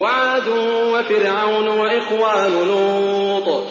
وَعَادٌ وَفِرْعَوْنُ وَإِخْوَانُ لُوطٍ